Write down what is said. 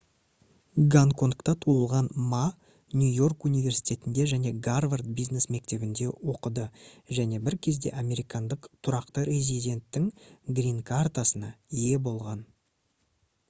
гонконгта туылған ма нью-йорк университетінде және гарвард бизнес мектебінде оқыды және бір кезде американдық тұрақты резиденттің «гринкартасына» ие болған